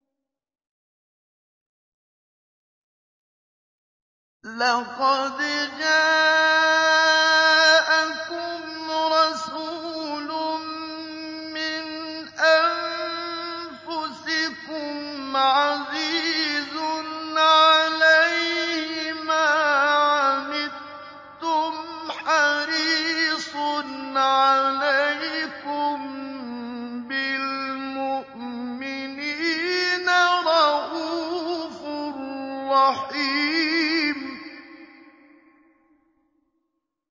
لَقَدْ جَاءَكُمْ رَسُولٌ مِّنْ أَنفُسِكُمْ عَزِيزٌ عَلَيْهِ مَا عَنِتُّمْ حَرِيصٌ عَلَيْكُم بِالْمُؤْمِنِينَ رَءُوفٌ رَّحِيمٌ